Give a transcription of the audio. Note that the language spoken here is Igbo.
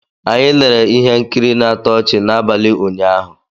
Anyị lere ihe nkiri na-atọ ọchị n'abalị ụnyaahụ